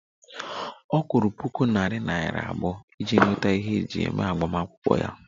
Ọ kwụrụ puku naira iri abụọ iji nweta ihe eji eme agbamakwụkwọ ya